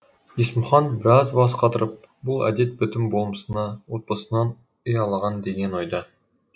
есмұхан біраз бас қатырып бұл әдет бітім болмысына отбасынан ұялаған деген ойда